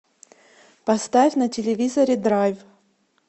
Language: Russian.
поставь на телевизоре драйв